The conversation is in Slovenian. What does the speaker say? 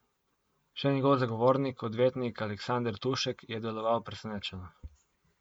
Še njegov zagovornik, odvetnik Aleksander Tušek, je deloval presenečeno.